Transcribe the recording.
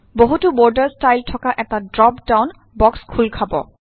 বহুতো বৰ্ডৰ ষ্টাইল থকা এটা ড্ৰ্প ডাউন বক্স খোল খব